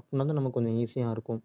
அப்பனா தான் நமக்கு கொஞ்சம் easy ஆ இருக்கும்